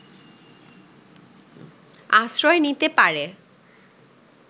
আশ্রয় নিতে পারে